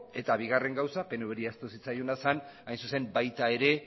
eta bigarren gauza pnvri ahaztu zitzaiona zen baita ere